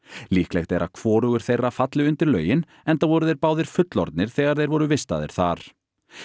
líklegt er að hvorugur þeirra falli undir lögin enda voru þeir báðir fullorðnir þegar þeir voru vistaðir þar